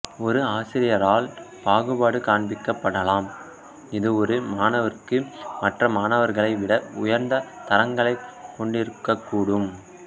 ஒரு ஆசிரியரால் பாகுபாடு காண்பிக்கப்படலாம் இது ஒரு மாணவருக்கு மற்ற மாணவர்களை விட உயர்ந்த தரங்களைக் கொண்டிருக்கக்கூடும்